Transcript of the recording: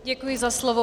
Děkuji za slovo.